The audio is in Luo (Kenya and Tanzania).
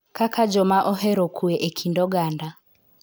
Kaka joma ohero kue e kind oganda.